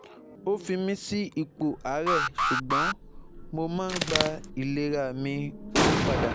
O fi mi si ipo aare sugbo mo n gba ilerami opada